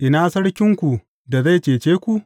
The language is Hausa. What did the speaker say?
Ina sarkinku, da zai cece ku?